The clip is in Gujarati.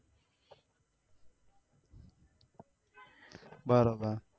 બરોબર